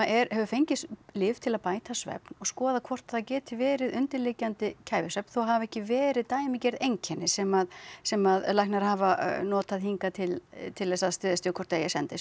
hefur fengið lyf til að bæta svefn og skoða hvort það geti verið undirliggjandi kæfisvefn þótt það hafi ekki verið dæmigerð einkenni sem sem læknar hafa notað hingað til til þess að styðjast við hvort eigi að senda í